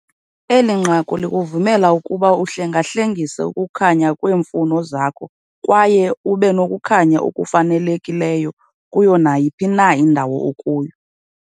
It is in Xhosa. Eli nqaku likuvumela ukuba uhlengahlengise ukukhanya ngokweemfuno zakho kwaye ube nokukhanya okufanelekileyo kuyo nayiphi na indawo okuyo.